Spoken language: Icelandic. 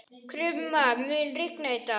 Krumma, mun rigna í dag?